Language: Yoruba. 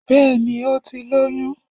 Bẹ́ẹ̀ni ó ti lóyún